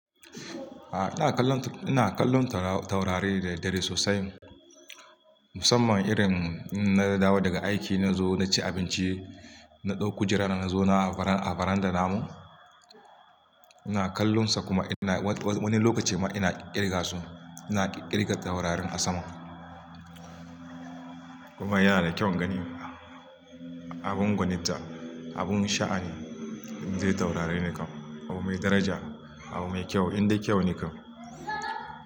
A'a ina kallon taurari da dare sosai musamman irin in na dawo daga aiki na zo na ci abinci na ɗauki jira na zo na a varanda namu. Ina kallon su kuma wani lokaci ma ina ƙirga su ina ƙirga taurarin a sama kuma yana da kyau ganin abun gwaninta abun sha'ani dai taurari ne kawai abu mai daraja abu mai kyau indai kyau ne kawai.